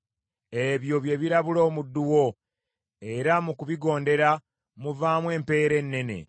Ebyo bye birabula omuddu wo, era mu kubigondera muvaamu empeera ennene.